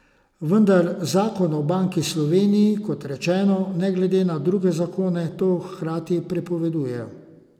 Vendar zakon o Banki Slovenije, kot rečeno, ne glede na druge zakone to hkrati prepoveduje.